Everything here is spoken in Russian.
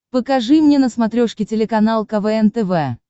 покажи мне на смотрешке телеканал квн тв